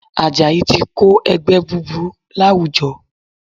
Àjàyí ti Kó ẹgbẹ́ burúkú láwùjọ